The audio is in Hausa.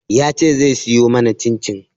Ya ce zai siyo mana cin-cin